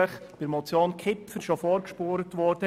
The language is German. mit der Motion Kipfer vorgespurt wurde.